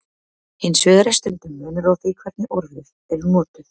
Hins vegar er stundum munur á því hvernig orðin eru notuð.